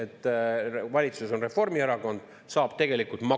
Ma tsiteerin Kaja Kallase sõnu, mida ta ütles abielureferendumi arutelu kontekstis 2020. aasta lõpul.